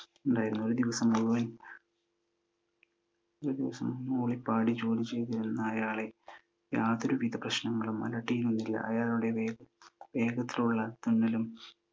ഒരു ദിവസം മൂളി പാടി ജോലി ചെയ്തിരുന്ന അയാളെ യാതൊരുവിധ പ്രശ്നങ്ങളും അലട്ടിയിരുന്നില്ല. അയാളുടെ വേഗത്തോടുള്ള തുന്നലും